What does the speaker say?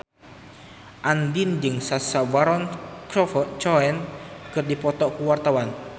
Andien jeung Sacha Baron Cohen keur dipoto ku wartawan